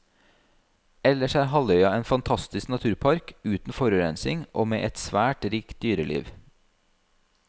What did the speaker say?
Ellers er halvøya en fantastisk naturpark uten forurensning og med et svært rikt dyreliv.